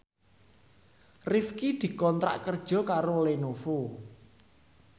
Rifqi dikontrak kerja karo Lenovo